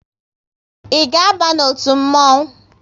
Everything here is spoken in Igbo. Ị ga aba n'otu mmonwu?